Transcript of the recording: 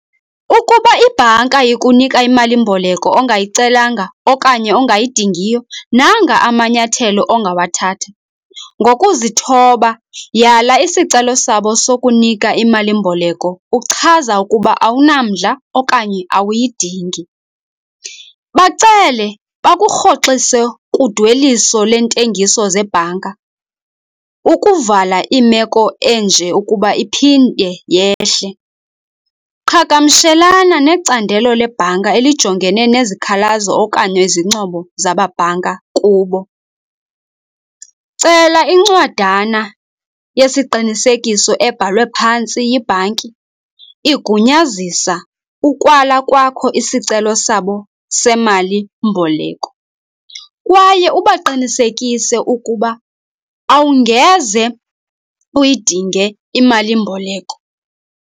Ukuba ibhanka ikunika imalimboleko ongayicelanga okanye ongayidingiyo nanga amanyathelo ongawathatha, ngokuzithoba yala isicelo sabo sokunika imalimboleko uchaza ukuba awunamdla okanye awuyidingi. Bacele bakurhoxise kudweliso lentengiso zebhanka ukuvala imeko enje ukuba iphinde yehle. Qhagamshelana necandelo lebhanka elijongene nezikhalazo okanye izincomo zababhanka kubo, cela incwadana yesiqinisekiso ebhalwe phantsi yibhanki igunyazisa ukwala kwakho isicelo sabo semalimboleko kwaye ubaqinisekise ukuba awungeze uyidinge imalimboleko.